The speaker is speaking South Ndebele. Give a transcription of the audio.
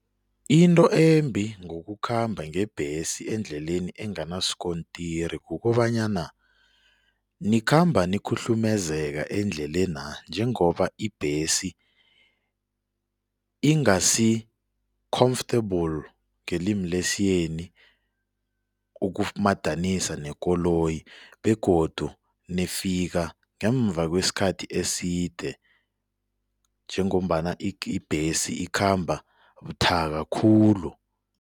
Into embi ngokukhamba ngebhesi endleleni enganasikontiri kukobanyana nikhamba nikhuhlumezeka endlelena njengoba ibhesi ingasi-comfortable, ngelimi lesiyeni, ukumadanisa nekoloyi begodu nifika ngemva kwesikhathi eside njengombana ibhesi ikhamba buthaka khulu.